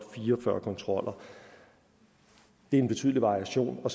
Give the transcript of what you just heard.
fire og fyrre kontroller det er en betydelig variation og